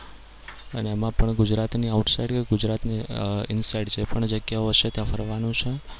અને એમાં પણ ગુજરાતની outside કે ગુજરાતની inside જે પણ જગ્યાઓ છે ત્યાં ફરવાનું છે.